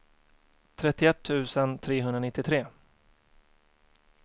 trettioett tusen trehundranittiotre